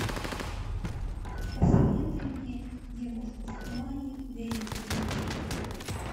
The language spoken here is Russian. посоветуй мне девушку в тумане дэвида линча